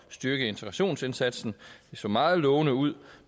styrke integrationsindsatsen det så meget lovende ud